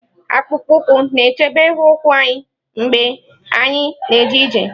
Akpụkpọ ụkwụ na-echebe ụkwụ anyị mgbe anyị na-eje ije.